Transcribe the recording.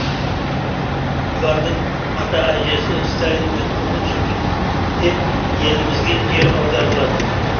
бұлардың ата әжесі сталиндік қуғын сүргінде елімізге жер аударылады